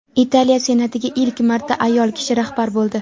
Italiya senatiga ilk marta ayol kishi rahbar bo‘ldi.